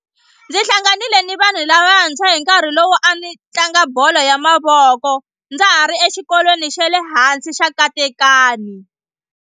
Ndzi hlanganile ni vanhu lavantshwa hi nkarhi lowu a ni tlanga bolo ya mavoko ndza ha ri exikolweni xa le hansi xa Katekani.